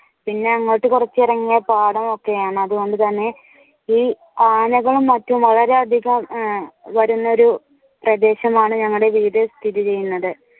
പിന്നെ അങ്ങോട്ട് കുറച്ചു ഇറങ്ങിയാൽ പാടമൊക്കെയാണ് അതുകൊണ്ട് തന്നെ ഈ ആനകളും മറ്റും വളരെയധികം വരുന്ന ഒരു പ്രദേശമാണ്. ഞങ്ങളുടെ വീട് സ്ഥിതി ചെയ്യുന്നത്